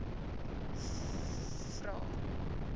vvvvrae